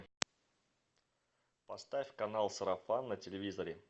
поставь канал сарафан на телевизоре